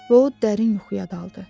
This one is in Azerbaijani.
Və o dərin yuxuya daldı.